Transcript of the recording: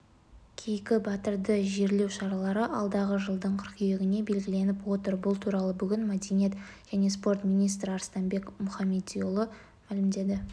кейкі батырды жерлеу шаралары алдағы жылдың қыркүйегіне белгіленіп отыр бұл туралы бүгін мәдениет және спорт министр арыстанбек мұхамедиұлы мәлімдеді